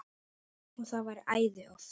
Og það var æði oft.